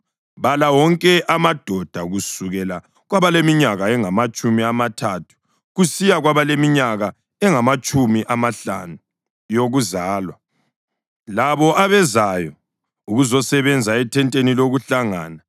Bala wonke amadoda kusukela kwabaleminyaka engamatshumi amathathu kusiya kwabaleminyaka engamatshumi amahlanu yokuzalwa labo abezayo ukuzosebenza ethenteni lokuHlangana.